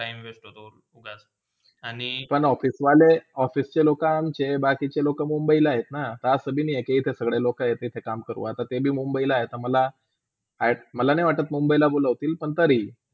पण office वले, official चे लोकांचे बाकीचे लोका मुंबईला हातना ते ते सगळे लोक येतील आणि काम करू आणि तेभी आता मुंबईला, मला अ, मला नाय वाटात मुंबईला बोलोवतील पण तरी.